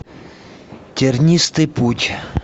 тернистый путь